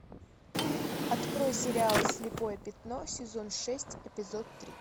открой сериал слепое пятно сезон шесть эпизод три